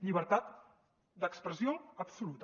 llibertat d’expressió absoluta